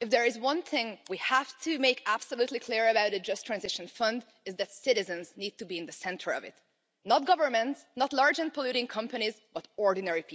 if there is one thing we have to make absolutely clear about a Just Transition Fund is that citizens need to be in the centre of it, not governments not large and polluting companies, but ordinary people.